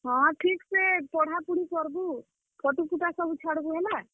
ହଁ, ଠିକ୍ ସେ ପଢା ପୁଢି କର୍ ବୁ, photo ଫୁଟା ସବୁ ଛାଡବୁ ହେଲା।